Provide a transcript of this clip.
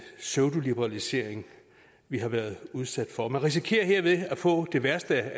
pseudoliberalisering vi har været udsat for man risikerer herved at få det værste